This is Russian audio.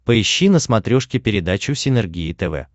поищи на смотрешке передачу синергия тв